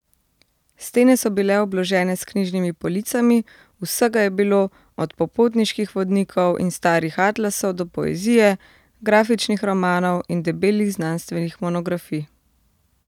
Stene so bile obložene s knjižnimi policami, vsega je bilo, od popotniških vodnikov in starih atlasov do poezije, grafičnih romanov in debelih znanstvenih monografij.